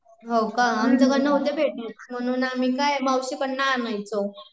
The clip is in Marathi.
होका आमच्याकडे नव्हत भेटत, म्हणून आम्ही काय मावशी कडून आणायचो.